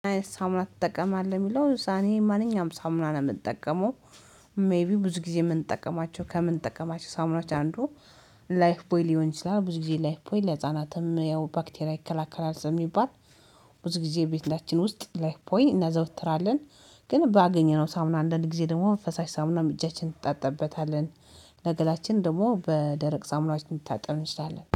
ሳሙና ትጠቀማለህ የሚለው እኔ ማንኛውም ሳሙና ነው የምጠቀመው። ሜይቢ ብዙ ጊዜ የምንጠቀማቸው ከምንጠቀማቸው ሳምኖች አንዱ ላይፍ ቦይ ሊሆን ይችላል ብዙ ጊዜ ላይፍ ቦይ ለህፃናትም ያው ባክቴራ ይከላከላል ስሚባል። ብዙ ጊዜ ቤታችን ውስጥ ላይፍ ቦይ እናዘወትራለን። ግን ባገኘነው ሳሙና አንድን ጊዜ ደግሞ ፈሳሽ ሳሙናም እጃችንን እንታጠብበታለን። ለገላችን ደግሞ በደረቅ ሳሙናዎች ልንታጠብ እንችላለን